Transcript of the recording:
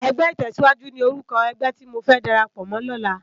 Ègbè itèsíwájú ni órúkò ègbè ti mó fè dàrápò mò lòlá